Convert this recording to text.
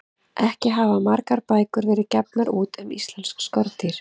Ekki hafa margar bækur verið gefnar út um íslensk skordýr.